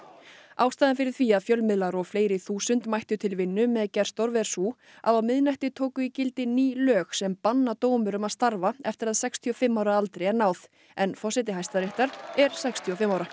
ástæðan fyrir því að fjölmiðlar og fleiri þúsund mættu til vinnu með Gersdorf er sú að á miðnætti tóku í gildi ný lög sem banna dómurum að starfa eftir að sextíu og fimm ára aldri er náð en forseti Hæstaréttar er sextíu og fimm ára